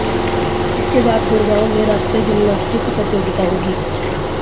इसके बाद गुड़गांव में राष्ट्रीय जिम्नास्टिक प्रतियोगिता होगी